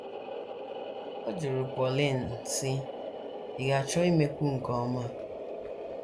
Ọ jụrụ Pauline, sị: “ Ị̀ ga - achọ imekwu nke ọma?